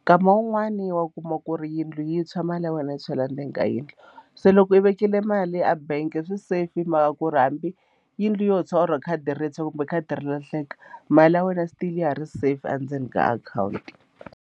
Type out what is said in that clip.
nkama wun'wani wa kuma ku ri yindlu yi tshwa mali ya wena yi tshwela ndzeni ka yindlu se loko u vekile mali a bank i swi safe hi mhaka ku ri hambi yindlu yo tshwa or khadi rintshwa kumbe khadi ri lahleka mali ya wena still ya ha ri safe endzeni ka akhawunti.